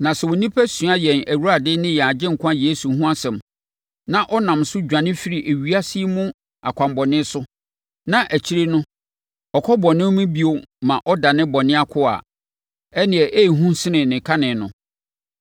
Na sɛ onipa sua yɛn Awurade ne yɛn Agyenkwa Yesu Kristo ho asɛm, na ɔnam so dwane firi ewiase yi mu akwammɔne so, na akyire no ɔkɔ bɔne mu bio ma ɔdane bɔne akoa a, ɛnneɛ ɛyɛ hu sene ne kane no.